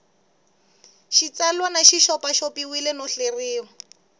xitsalwana xi xopaxopiwile no hleriwa